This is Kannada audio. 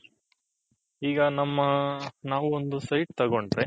ಹಿಗ ನಮ್ಮ ನಾವು ಒಂದು site ತಗೊಂಡ್ರಿ.